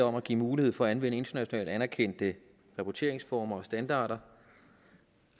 om at give mulighed for at anvende internationalt anerkendte rapporteringsformer og standarder